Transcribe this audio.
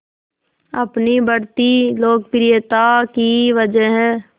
अपनी बढ़ती लोकप्रियता की वजह